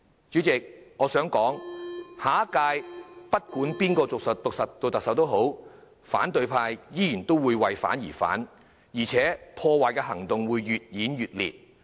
主席，我想指出下屆政府不管由誰擔任特首，反對派仍會為反對而反對，而且破壞行動會越演越烈。